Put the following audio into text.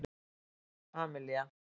Amelía